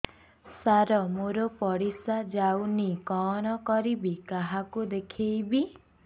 ସାର ମୋର ପରିସ୍ରା ଯାଉନି କଣ କରିବି କାହାକୁ ଦେଖେଇବି